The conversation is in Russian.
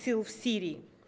сил в сирии